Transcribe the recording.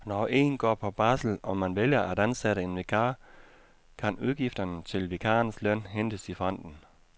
Når en går på barsel og man vælger at ansætte en vikar, kan udgifterne til vikarens løn hentes i fonden.